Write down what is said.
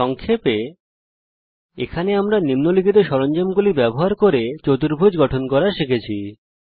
সংক্ষেপে এই টিউটোরিয়াল এ আমরা নিম্নলিখিত সরঞ্জামগুলি ব্যবহার করে চতুর্ভুজ গঠন করা শিখেছি